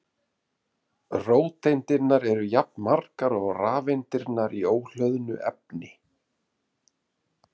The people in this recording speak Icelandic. Róteindirnar eru jafnmargar og rafeindirnar í óhlöðnu efni.